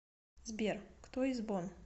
сбер кто из бонн